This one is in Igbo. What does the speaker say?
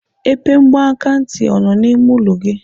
Epe mgbakantị ọ nọ n'ime ụlọ gị?